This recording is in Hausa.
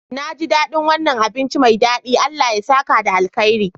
Naji daɗin wannan abinci mai daɗi, Allah ya saka da alkhairi.